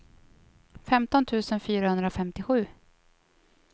femton tusen fyrahundrafemtiosju